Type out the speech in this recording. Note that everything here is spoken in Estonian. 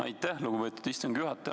Aitäh, lugupeetud istungi juhataja!